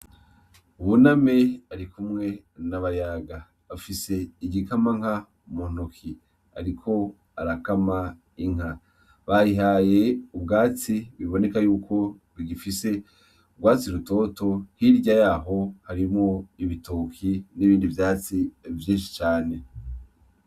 Buname barikumwe na Bayaga .Afise igikamanka mu ntoki ariko arakama inka. Bayihaye ubwatsi biboneka yuko bigifise urwatsi rutoto hirya yaho harimwo ibitoki n’ibindi vyatsi vyinshi cane .